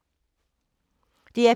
DR P3